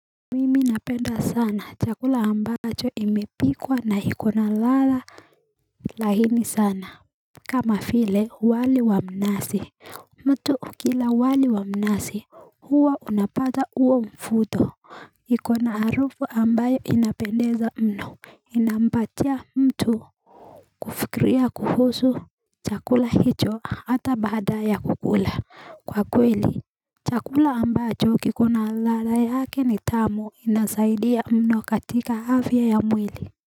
Mimi napenda sana chakula ambacho imepikwa na iko na lala lahini sana kama file wali wa mnasi mtu ukila wali wa mnasi huwa unapata uo mfuto iko na harufu ambayo inapendeza mno Inampatia mtu kufikiria kuhusu chakula hicho ata baada ya kukula kwa kweli chakula ambacho kikuna lalara yake ni tamu inasaidia mno katika afya ya mwili.